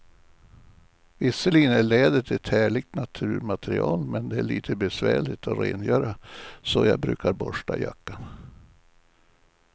Visserligen är läder ett härligt naturmaterial, men det är lite besvärligt att rengöra, så jag brukar borsta jackan.